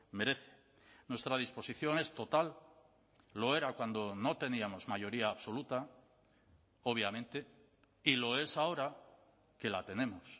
merece nuestra disposición es total lo era cuando no teníamos mayoría absoluta obviamente y lo es ahora que la tenemos